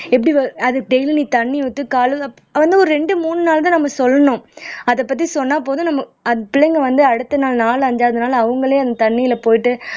எப்படி அது டெய்லி நீ தண்ணி ஊத்தி காலையில ஒரு ரெண்டு மூணு நாள் தான் நம்ம சொல்லணும் அதை பத்தி சொன்னா போதும் நம்ம அது பிள்ளைங்க வந்து அடுத்த நாள் நாலு அஞ்சாவது நாள் அவங்களே அந்த தண்ணியில போயிட்டு